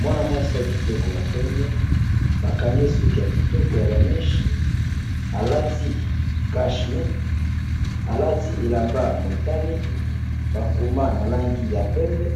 Mwana mwasi ya kitoko ya pembe, bakangi suki ya kitoko ya ba meche, alati cach nez, alati elamba ya motane, bakoma na langi ya pembe,